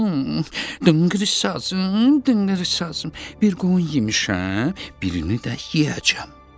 Dınqır sazım, dınqır sazım, bir qoyun yemişəm, birini də yeyəcəm.